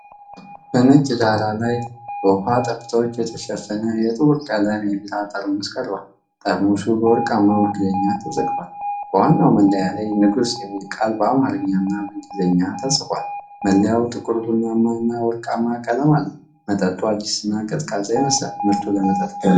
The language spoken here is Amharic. በነጭ ዳራ ላይ በውሃ ጠብታዎች የተሸፈነ የጥቁር ቀለም የቢራ ጠርሙስ ቀርቧል። ጠርሙሱ በወርቃማ መክደኛ ተዘግቷል። በዋናው መለያ ላይ "ንጉስ"የሚለው ቃል በአማርኛና በእንግሊዝኛ ተጽፏል። መለያው ጥቁር ቡናማና ወርቃማ ቀለም አለው። መጠጡ አዲስና ቀዝቃዛ ይመስላል። ምርቱ ለመጠጥ ገበያ ቀርቧል።